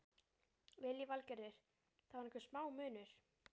Lillý Valgerður: Það er einhver smá munur?